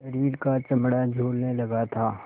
शरीर का चमड़ा झूलने लगा था